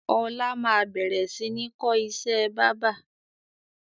Ọlá máa bẹ̀rẹ̀ sini kọ́ ìṣẹ́ báábà